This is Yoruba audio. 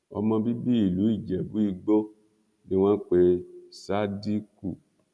ọmọ bíbí ìlú ijẹbùìgbò ni wọn pe sádíkù